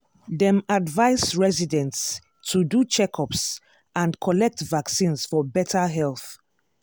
dem advise residents to do checkups and collect vaccines for better health.